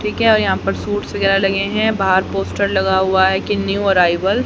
ठीक है और यहां पर सूट्स वगैर लगे हैं बाहर पोस्टर लगा हुआ है की न्यू अराइवल --